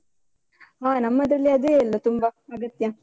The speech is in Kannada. ಹಾ ನಮ್ಮದ್ರಲ್ಲಿ ಅದೇ ಅಲ್ಲ ತುಂಬ ಅಗತ್ಯ.